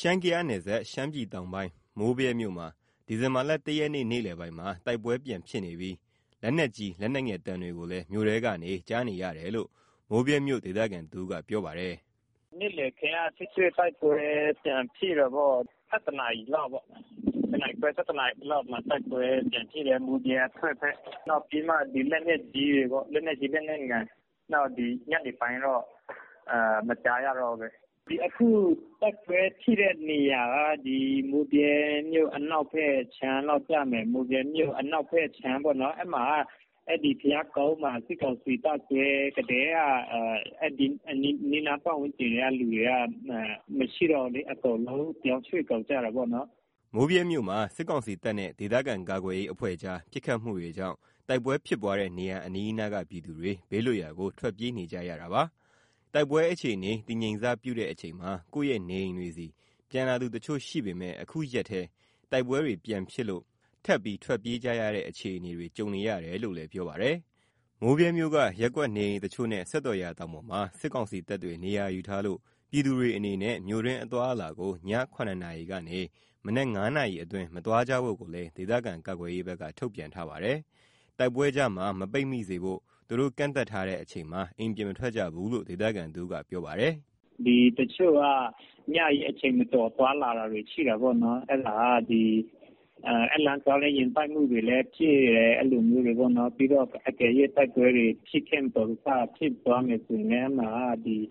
ရှမ်း - ကယားနယ်စပ်၊ ရှမ်းပြည်တောင်ပိုင်း၊ မိုးဗြဲမြို့မှာ ဒီဇင်ဘာလ ၁ ရက်နေ့ နေ့လည်ပိုင်းက တိုက်ပွဲပြန်ဖြစ်နေပြီး လက်နက်ကြီး လက်နက်ငယ်သံတွေကိုလည်း မြို့ထဲကနေ ကြားနေရတယ်လို့ မိုးဗြဲမြို့ဒေသခံတဦးကပြောပါတယ်။ " နေ့ခင်းက ထိတွေ့တိုက်ပွဲ ပြန်ဖြစ်တယ်။ ၁၁ နာရီလောက် မိုးဗြဲအထွက်ဘက်မှာ တိုက်ပွဲပြန်ဖြစ်တယ်။ လက်နက်ကြီး လက်နက်ငယ်တွေရောပေါ့။ ဒီ ညနေပိုင်းတော့ မကြားရတော့ဘူး။ အခု တိုက်ပွဲဖြစ်တဲ့နေရာက မိုးဗြဲမြို့ အနောက်ဘက်ခြမ်းလောက် ကျမယ်။ အဲဒီက ဘုရားကုန်းမှာ စစ်ကောင်စီတပ်စွဲကတည်းက အဲဒီအနီးနား ပတ်ဝန်းကျင်ကလူတွေက မရှိတော့ဘူးလေ။ အကုန်လုံး ပြောင်းရွှေ့ကုန်ကြတာပေါ့နော်။" မိုးဗြဲမြို့မှာ စစ်ကောင်စီတပ်နဲ့ ဒေသခံကာကွယ်ရေး အဖွဲ့ကြား ပစ်ခတ်မှုတွေကြောင့် တိုက်ပွဲဖြစ်ပွားတဲ့ နေရာအနီးအနားက ပြည်သူတွေ ဘေးလွတ်ရာကို ထွက်ပြေးနေကြရတာပါ။ တိုက်ပွဲအခြေအနေ တည်ငြိမ်စပြုတဲ့ အချိန်မှာ ကိုယ့်ရဲ့နေအိမ်တွေဆီ ပြန်လာသူတချို့ရှိပေမယ့် အခုရက်ထဲ တိုက်ပွဲတွေပြန်ဖြစ်လို့ ထပ်ပြီးထွက်ပြေးကြရတဲ့ အခြေအနေတွေ ကြုံနေရတယ်လို့လည်း ပြောပါတယ်။ မိုးဗြဲမြို့က ရပ်ကွက်နေအိမ်တချို့နဲ့ စက်တော်ရာတောင်ပေါ်မှာ စစ်ကောင်စီတပ်တွေ နေရာယူထားလို့ ပြည်သူတွေအနေနဲ့ မြို့တွင်းအသွားအလာကို ည ၇ နာရီကနေ မနက် ၅ နာရီအတွင်း မသွားကြဖို့ကိုလည်း ဒေသခံကာကွယ်ရေးဘက်က ထုတ်ပြန်ထားပါတယ်။ တိုက်ပွဲကြားမှာ ပိတ်မိမနေဖို့ သူတို့ကန့်သတ်ထားတဲ့ အချိန်မှာ အိမ်ပြင်မထွက်ကြဘူးလို့ ဒေသခံတဦးက ပြောပါတယ်။ "တချို့က ညကြီးအချိန်မတော် သွားလာတာတွေ ရှိတာပေါ့။ အဲဒီလမ်းသွားရင် ယာဉ်တိုက်မှုတွေလည်း ရှိတယ်။ အကယ်၍ တိုက်ပွဲတွေ မတော်တဆဖြစ်သွားမယ် ဆိုရင်လည်း ပြည်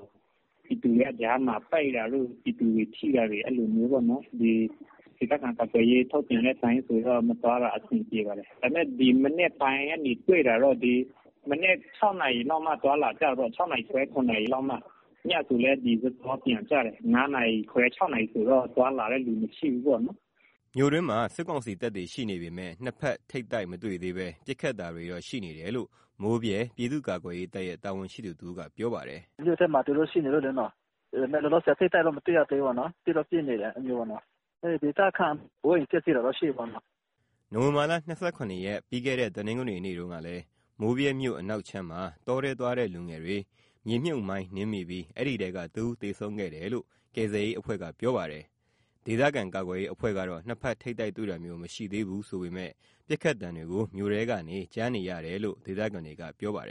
သူတွေက ကြားမှာပိတ်တာတို့၊ ပြည်သူတွေ ထိတာမျိုးပေါ့နော်။ ဒေသခံကာကွယ်ရေးဘက်က ထုတ်ပြန်တဲ့အတိုင်း မသွားတာမျိုးတော့ အဆင်ပြေပါတယ်။ ဒါပေမဲ့ အခု မနက် ၆ နာရီခွဲ ၇ နာရီလောက်မှ သွားလာကြတာပေါ့နော်။ ညဆိုလည်း စောစောပြန်ကြတယ်။ ၅ နာရီခွဲ ၆ နာရီလောက်ဆို သွားလာတဲ့သူ မရှိဘူးပေါ့နော်။" မြို့တွင်းမှာ စစ်ကောင်စီတပ်ရှိနေပေမယ့် နှစ်ဖက်ထိပ်တိုက် မတွေ့သေးဘဲ ပစ်ခတ်တာတွေတော့ ရှိနေတယ်လို့ မိုးဗြဲပြည်သူ့ကာကွယ်ရေးတပ်ရဲ့ တာဝန်ရှိသူတဦးက ပြောပါတယ်။ "မြို့ထဲမှာ သူတို့ရှိနေလို့လေ။ လောလောဆယ် ထိပ်တိုက်တော့ မတွေ့ရသေးဘူး၊ ပစ်တော့ပစ်နေတယ်။ ဒေသခံ အိုးအိမ်ပျက်စီးတာတော့ ရှိတာပေါ့နော်။" နိုဝင်ဘာလ ၂၇ ရက်၊ ပြီးခဲ့တဲ့ တနင်္ဂနွေနေ့တုန်းကလည်း မိုးဗြဲမြို့အနောက်ခြမ်းမှာ တောထဲသွားတဲ့ လူငယ်တွေ မြေမြှုပ်မိုင်းနင်းမိပြီး အဲဒီထဲက တဦးသေဆုံးခဲ့တယ်လို့ ကယ်ဆယ်ရေးအဖွဲ့က ပြောပါတယ်။ ဒေသကာကွယ်ရေး အဖွဲ့ကတော့ နှစ်ဖက်ထိပ်တိုက် တွေ့တာမျိုး မရှိသေးဘူးဆိုပေမယ့် ပစ်ခတ်သံတွေကို မြို့ထဲကနေ ကြားနေရတယ်လို့ ဒေသခံတွေက ပြောပါတယ်